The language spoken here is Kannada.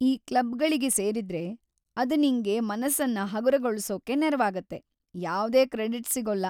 ಈ ಕ್ಲಬ್ಗಳಿಗೆ ಸೇರಿದ್ರೆ ಅದ್‌ ನಿಂಗೆ ಮನಸ್ಸನ್ನ ಹಗುರಗೊಳ್ಸೋಕೆ ನೆರವಾಗುತ್ತೆ, ಯಾವ್ದೇ ಕ್ರೆಡಿಟ್ಸ್‌ ಸಿಗೊಲ್ಲ.